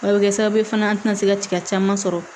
A bɛ kɛ sababu ye fana an tɛna se ka tiga caman sɔrɔ